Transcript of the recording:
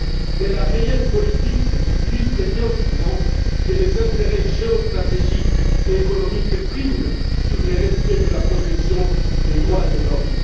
Mais la realpolitik illustre bien souvent que les intérêts géostratégiques et économiques priment sur le respect de la protection des droits de l'homme.